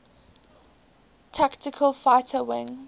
tactical fighter wing